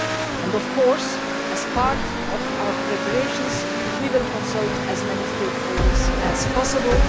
And of course, as part of our preparations, we will consult as many stakeholders as possible.